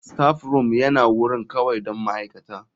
Staffroom yana wurin kawai don ma'aikata.